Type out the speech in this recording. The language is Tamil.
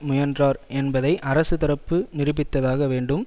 முயன்றார் என்பதை அரசு தரப்பு நிரூபித்ததாக வேண்டும்